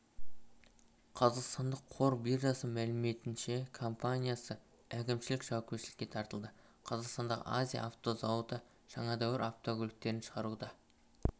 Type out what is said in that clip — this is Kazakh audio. қазақстандық қор биржасы мәліметінше компаниясы әкімшілік жауапкершілікке тартылды қазақстандағы азия авто зауыты жаңа дәуір автокөліктерін шығаруды